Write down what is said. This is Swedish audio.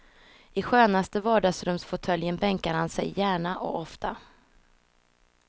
I skönaste vardagsrumsfåtöljen bänkar han sig gärna och ofta.